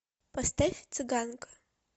поставь цыганка